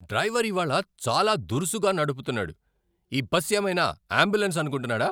Driver ఇవాళ చాలా దురుసుగా నడుపుతున్నాడు. ఈ బస్ ఏమైనా యాంబులెన్స్ అనుకుంటున్నాడా?